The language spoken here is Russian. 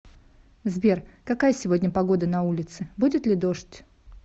сбер какая сегодня погода на улице будет ли дождь